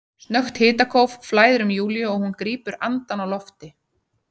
Snöggt hitakóf flæðir um Júlíu og hún grípur andann á lofti.